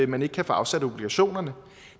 man ikke kan få afsat obligationerne